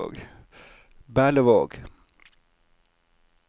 Berlevåg